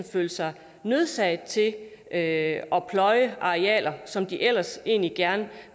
følt sig nødsaget til at at pløje arealer som de måske ellers egentlig gerne